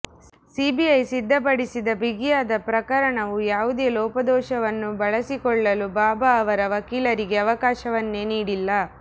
CBI ಸಿದ್ಧಪಡಿಸಿದ ಬಿಗಿಯಾದ ಪ್ರಕರಣವು ಯಾವುದೇ ಲೋಪದೋಷವನ್ನು ಬಳಸಿಕೊಳ್ಳಲು ಬಾಬಾ ಅವರ ವಕೀಲರಿಗೆ ಅವಕಾಶವನ್ನೇ ನೀಡಿಲ್ಲ